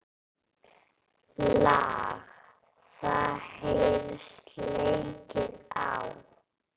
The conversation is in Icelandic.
Lag það heyrist leikið á.